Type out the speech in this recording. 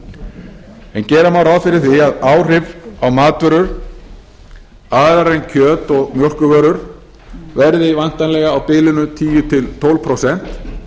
forsendur en gera má ráð fyrir því að áhrif á matvörur aðrar en kjöt og mjólkurvörur verði væntanlega á bilinu tíu til tólf prósent